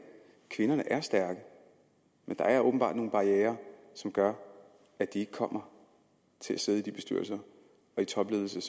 kvinderne er stærke men der er åbenbart nogle barrierer som gør at de ikke kommer til at sidde i bestyrelser og i topledelser